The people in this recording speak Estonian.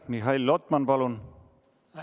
Mihhail Lotman, palun!